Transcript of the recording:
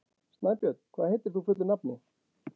Snæbjörn, hvað heitir þú fullu nafni?